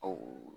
Ɔ